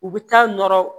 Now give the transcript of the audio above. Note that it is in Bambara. U bɛ taa nɔrɔ